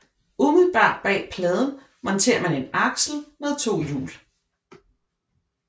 Umiddelbart bag pladen monterer man en aksel med to hjul